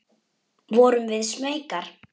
Vorum við smeykar?